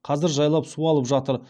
қазір жайлап суалып жатыр